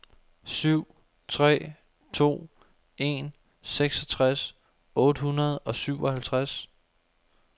syv tre to en seksogtres otte hundrede og syvoghalvtreds